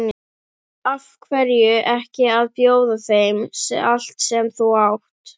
Af hverju ekki að bjóða þeim allt sem þú átt?